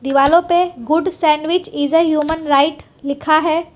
दीवालों पे good sandwich is a human right लिखा है।